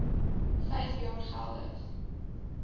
vyf jaar geldig